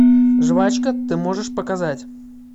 жвачка ты можешь показать